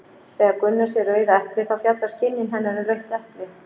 Þegar Gunna sér rauða eplið þá fjallar skynjun hennar um rautt epli.